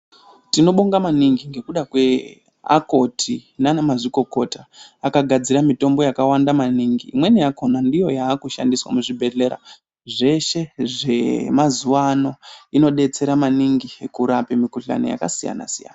Tinobonga maningi ngekuda kweakoti, nanamazvikokota, akagadzira mitombo yakawanda maningi, imweni yakhona ndiyo yaakushandiswa muzvibhedhlera zveshe zvemazuwa ano, inodetsera maningi kurape mikhuhlani yakasiyana-siyana.